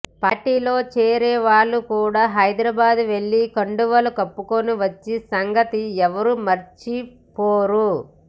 పార్టీలో చేరే వాళ్ళు కూడా హైద్రాబాద్ వెల్లి కండువాలు కప్పుకుని వచ్చిన సంగతి ఎవ్వరూ మరచిపోరు